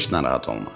Heç narahat olma.